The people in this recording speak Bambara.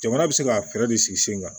Jamana bɛ se ka fɛɛrɛ de sigi sen kan